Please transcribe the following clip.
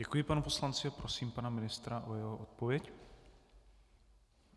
Děkuji panu poslanci a prosím pana ministra o jeho odpověď.